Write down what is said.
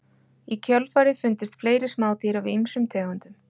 Í kjölfarið fundust fleiri smádýr af ýmsum tegundum.